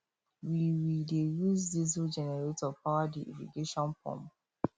we we dey use diesel generator power the irrigation pump